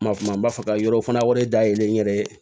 Ma kuma n b'a fɛ ka yɔrɔ fana wari dayɛlɛ n yɛrɛ ye